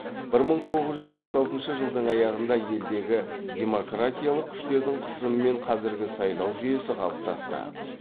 бір мың тоғыз жүз алпыс алтыншы жылдың аяғында елдегі демократиялық күштердің қысымымен қазіргі сайлау жүйесі қалыптасты